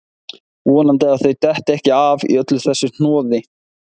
Vonandi að þau detti ekki af í öllu þessu hnoði